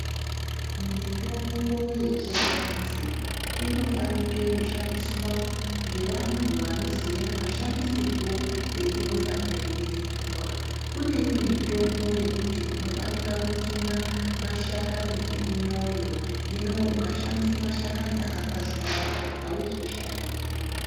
Mitombo yechiantu inofanike kushandiswa ngevantu anoziva mashandisirwo einofanire kuitwa . Kune imwe mitombo yekuti unofanika kutsuna mashakani ekumwoyo hino ukashandisa mashakani akakwazharara auzoshandi.